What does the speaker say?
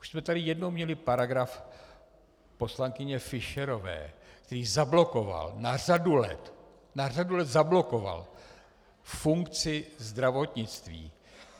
Už jsme tady jednou měli paragraf poslankyně Fischerové, který zablokoval na řadu let, na řadu let zablokoval funkci zdravotnictví.